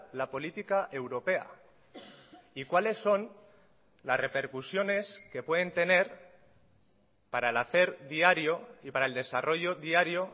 la política europea y cuáles son las repercusiones que pueden tener para el hacer diario y para el desarrollo diario